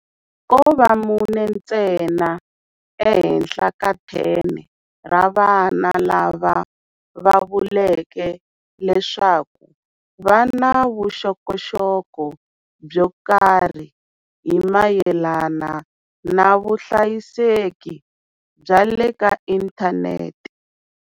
Ko va mune ntsena ehenhla ka 10 ra vana lava va vuleke leswaku va na vuxokoxoko byo karhi hi mayelana na vuhlayiseki bya le ka inthanete.